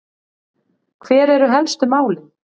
Hver eru helstu málin?